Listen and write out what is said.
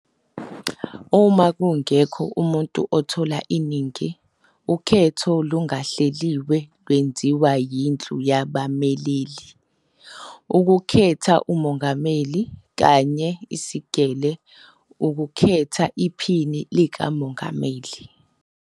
Uma kungekho muntu othola iningi, ukhetho olungahleliwe lwenziwa yIndlu yabameleli, ukukhetha umongameli, kanye Isigele, ukukhetha iphini likamongameli.